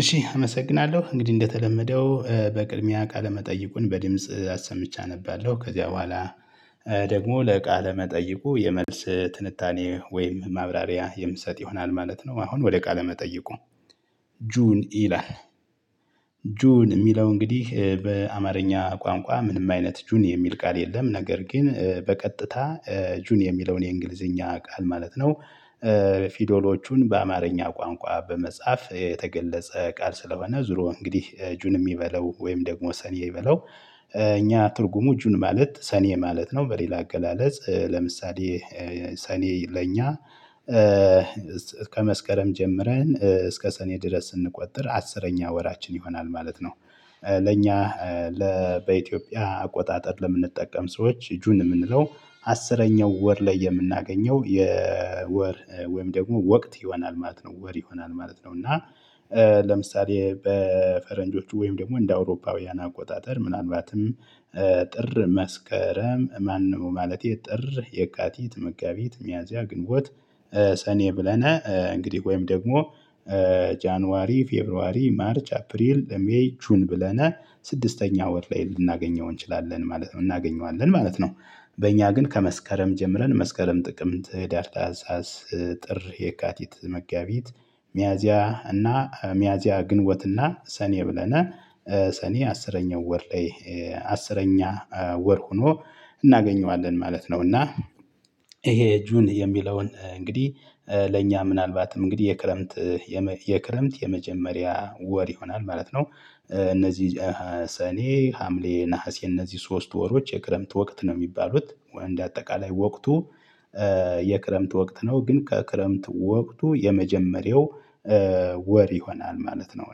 እሺ አመሰግናለሁ እንግዲህ እንደተለመደው በቅድሚያ ቃለ መጠይቁን በድምጽ አሰምቼ አነባለሁ ከዚያ በኋላ ደግሞ ለቃለ መጠይቁ የመልስ ትንታኔ ወይም ማብራሪያ የምሰጥ ይሆናል ማለት ነው። አሁን ወደ ቃለ መጠየቁ ጁን ኢላን ጁን የሚለው እንግዲህ በአማርኛ ቋንቋ ምንም አይነት ጁኒ የሚል ቃል የለም ነገር ግን በቀጥታ ጁን የሚለውን የእንግሊዝኛ ቃል ማለት ነው። ፊዶሎቹን በአማርኛ ቋንቋ በመጻፍ የተገለጸ ቃል ስለሆነ ዙሮ እንግዲህ ጁን ይበለው ወይም ደግሞ ሰኔ ይበለው እኛ ትርጉሙ ጁን ማለት ሰኔ ማለት ነው። በሌላ አገላለጽ ለምሳሌ ሰኔ በኛ ከመስከረም ጀምረን እስከ ሰኔ ድረስ ስንቆጥር አስረኛ ወራችን ይሆናል ማለት ነው። ለኛ ለ በኢትዮጵያ አቆጣጠር ለምንጠቀም ሰዎች ጁን የምንለው አስረኛው ወር ላይ የምናገኘው የወር ወይም ደግሞ ወቅት ይሆናል ማለት ነው ወር ይሆናል ማለት ነው። እና ለምሳሌ በፈረንጆቹ ወይም ደግሞ እንደ አውሮፓውያን አቆጣጠር ምናልባትም ጥር መስከረም ማነው ማለቴ ጥር የካቲት መጋቢት ሚያዝያ ግንቦት ሰኔ ብለን እንግዲህ ወይም ደግሞ ጃንዋሪ ፌብሩዋሪ ማርች አፕሪል ሜይ ጁን ብለናል ስድስተኛ ወር ላይ ልናገኘው እንችላለን ማለት ነው እናገኘዋለን ማለት ነው። በእኛ ግን ከመስከረም ጀምረን መስከረም ጥቅምት ህዳር ታህሳስ ጥር የካቲት መጋቢት ሚያዚያ እና ሚያዚያ ግንቦትና ሰኔ ብለናል ሰኔ አስረኛው ወር ላይ አስረኛ ወር ሆኖ እናገኘዋለን ማለት ነው። እና ይሄ ጁን የሚለውን እንግዲህ ለእኛ ምናልባትም እንግዲህ የክረምት የክረምት የመጀመሪያ ወር ይሆናል ማለት ነው። እነዚህ ሰኔ ሀምሌ ነሀሴ እነዚህ ሶስት ወሮች የክረምት ወቅት ነው የሚባሉት እንደ አጠቃላይ ወቅቱ የክረምት ወቅት ነው ግን ከክረምት ወቅት የመጀመሪያው ወር ይሆናል ማለት ነው።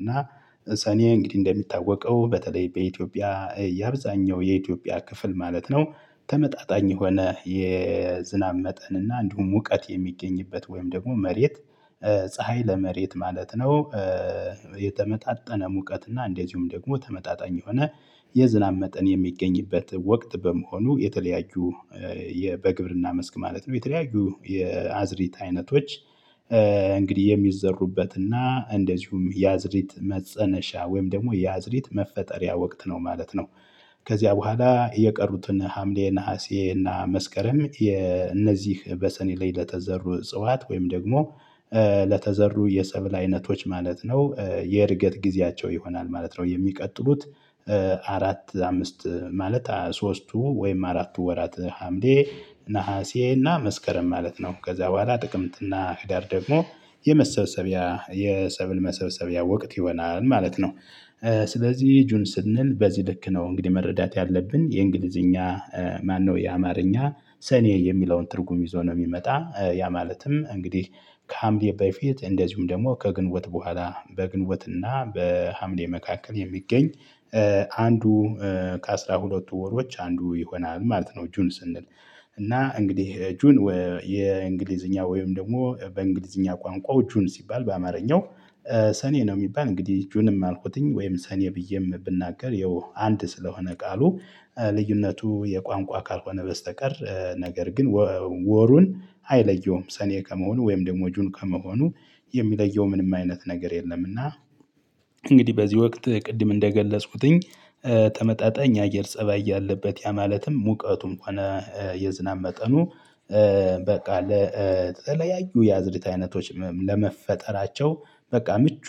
እና ሰኔ እንግዲህ እንደሚታወቀው በተለይ በኢትዮጵያ የአብዛኛው የኢትዮጵያ ክፍል ማለት ነው ተመጣጣኝ የሆነ የዝናብ መጠን እና እንዲሁም እውቀት የሚገኝበት ወይም ደግሞ መሬት ፀሀይ ለመሬት ማለት ነው። የተመጣጠነ ሙቀት እና እንደዚሁም ደግሞ ተመጣጣኝ የሆነ የዝናብ መጠን የሚገኝበት ወቅት በመሆኑ የተለያዩ በግብርና መስክ ማለት ነው የተለያዩ የአዝሪት አይነቶች እንግዲህ የሚዘሩበትና እንደዚሁም የአዝሪት መፀነሻ ወይም ደግሞ የአዝሪት መፈጠሪያ ወቅት ነው ማለት ነው። ከዚያ በኋላ የቀሩትን ሀምሌ ነሀሴ እና መስከረም የነዚህ በሰኔ ላይ ለተዘሩ ጽዋት ወይም ደግሞ ለተዘሩ የሰብል አይነቶች ማለት ነው የእድገት ጊዜያቸው ይሆናል ማለት ነው። የሚቀጥሉት አራት አምስት ማለት ሶስቱ ወይም አራቱ ወራት ሀምሌ ነሀሴና መስከረም ማለት ነው ከዛ በኋላ ጥቅምትና ህዳር ደግሞ የመሰብሰቢያ የሰብል መሰብሰቢያ ወቅት ይሆናል ማለት ነው። ስለዚህ ጁን ስንል በዚህ ልክ ነው እንግዲህ መረዳት ያለብን የእንግሊዝኛ ማነው የአማርኛ ሰኔ የሚለውን ትርጉም ይዞ ነው የሚመጣ ያ ማለትም እንግዲህ ከሀምሌ በፊት እንደዚሁም ደግሞ ከግንቦት በኋላ በግንቦትና በሀምሌ መካከል የሚገኝ አንዱ ከአሥራ ሁለት ወሮች አንዱ ይሆናል ማለት ነው። ጁን ስንል እና እንግዲህ ጁን የእንግሊዝኛ ወይም ደግሞ በእንግሊዝኛ ቋንቋው ጁን ሲባል በአማርኛው ሰኔ ነው የሚባል እንግዲህ ጁንም አልኩት ወይም ሰኔ ብዬም ብናገር ይኸው አንድ ስለሆነ ቃሉ። ልዩነቱ የቋንቋ ካልሆነ በስተቀር ነገር ግን ወሩን አይለየውም ሰኔ ከመሆኑ ወይም ደግሞ ጁን ከመሆኑ የሚለየው ምንም አይነት ነገር የለም። እና እንግዲህ በዚህ ወቅት ቅድም እንደገለጽኩት ተመጣጣኝ የአየር ፀባይ ያለበት ያ ማለትም ሙቀቱም ከሆነ የዝናብ መጠኑ በቃ ለተለያዩ የአዝርዕት አይነቶች ለመፈጠራቸው በቃ ምቹ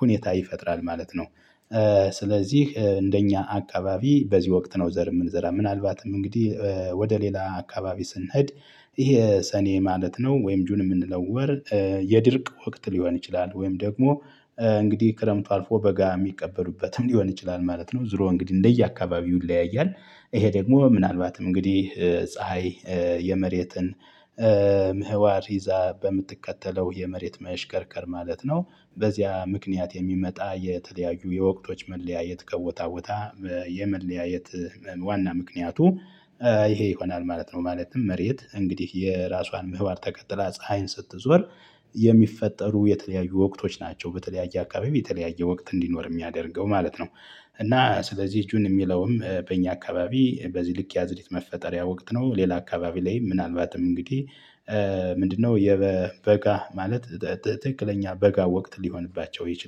ሁኔታ ይፈጥራል ማለት ነው። ስለዚህ እንደኛ አካባቢ በዚህ ወቅት ነው ዘር የምንዘራው ምናልባትም እንግዲህ ሌላ አካባቢ ስንሄድ ይሄ ሰኔ ማለት ነው። ወይም ጁን የምንለወር የድርቅ ወቅት ሊሆን ይችላል ወይም ደግሞ እንግዲህ ክረምቱ አልፎ በጋ የሚከበርበትም ሊሆን ይችላል ማለት ነው። ዙሮ እንግዲህ እንደየ አካባቢው ይለያያል ይሄ ደግሞ ምናልባትም እንግዲህ ፀሀይ የመሬትን ምህዋር ይዛ በምትከተለው የመሬት መሽከርከር ማለት ነው። በዚያ ምክንያት የሚመጣ የተለያዩ የወቅቶች መለያየት ከቦታ ቦታ የመለያየት ዋና ምክንያቱ ይሄ ይሆናል ማለት ነው። ማለትም መሬት እንግዲህ የራሷን ምህባር ተከትላ ፀሀይን ስትዞር የሚፈጠሩ የተለያዩ ወቅቶች ናቸው በተለያየ አካባቢ በተለያየ ወቅት እንዲኖር የሚያደርገው ማለት ነው። እና ስለዚህ ጁን የሚለውም በእኛ አካባቢ በዚህ ልክ ያዝዕርት መፈጠሪያ ወቅት ነው። ሌላ አካባቢ ላይ ምናልባትም እንግዲህ ምንድነው የበጋ ማለት ትክክለኛ በጋ ወቅት ሊሆንባቸው ይችላል